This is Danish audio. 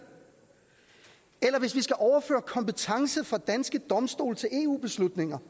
er hvis vi skal overføre kompetence fra danske domstole til eu beslutninger